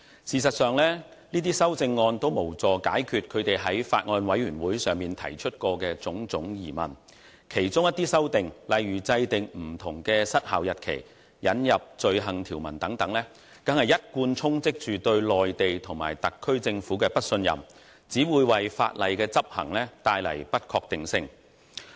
事實上，這些修正案均無助解決他們在法案委員會會議上提出的種種疑問，其中一些修訂，如制訂不同的失效日期和引入罪行條文等，更一貫充斥着對內地和特區政府的不信任，只會為法例執行帶來不確定性。